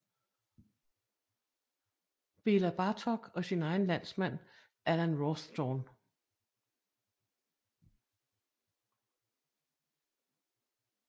Bela Bartok og sin egen landsmand Alan Rawsthorne